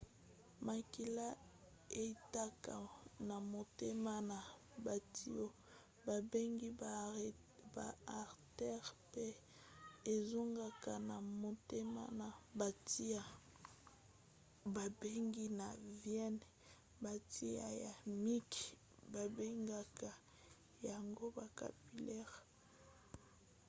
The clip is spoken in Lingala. makila eutaka na motema na batiyo babengi ba artères pe ezongaka na motema na batiyo babengi ba veines. batiyo ya mike babengaka yango ba capillaires